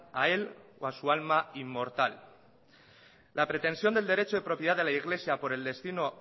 a él o a su alma inmortal la pretensión del derecho de propiedad de la iglesia